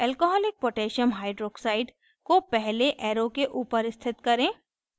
alcoholic potassium hydroxide alc koh को पहले arrow के ऊपर स्थित करें